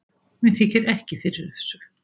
Mér þykir ekki fyrir þessu